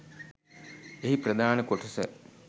එහි ප්‍රධාන කොටස